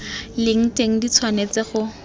leng teng di tshwanetse go